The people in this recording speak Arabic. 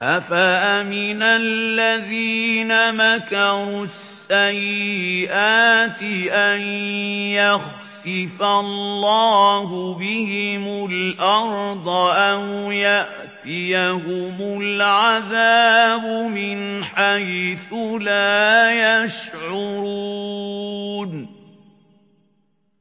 أَفَأَمِنَ الَّذِينَ مَكَرُوا السَّيِّئَاتِ أَن يَخْسِفَ اللَّهُ بِهِمُ الْأَرْضَ أَوْ يَأْتِيَهُمُ الْعَذَابُ مِنْ حَيْثُ لَا يَشْعُرُونَ